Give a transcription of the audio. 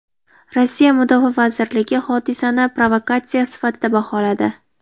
Rossiya Mudofaa vazirligi hodisani provokatsiya sifatida baholadi.